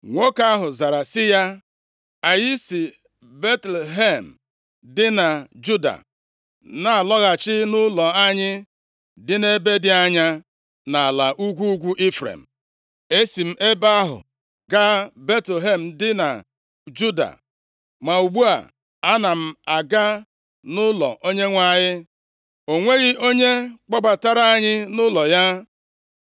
Nwoke ahụ zara sị ya, “Anyị si Betlehem dị na Juda na-alọghachi nʼụlọ anyị dị nʼebe dị anya nʼala ugwu ugwu Ifrem. Esi m ebe ahụ gaa Betlehem dị na Juda, ma ugbu a, ana m aga nʼụlọ Onyenwe anyị. O nweghị onye kpọbatara anyị nʼụlọ ya.